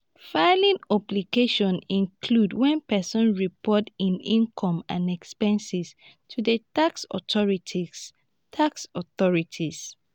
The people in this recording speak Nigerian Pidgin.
filing obligations include when person report im income and expenses to di tax authorities tax authorities